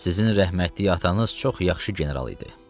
Sizin rəhmətlik atanız çox yaxşı general idi.